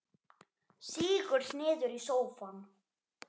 Sígur niður í sófann.